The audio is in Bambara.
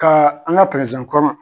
Ka an ka kɔrɔ